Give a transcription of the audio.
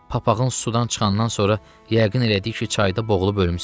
Papağın sudan çıxandan sonra yəqin elədiki çayda boğulub ölmüsən.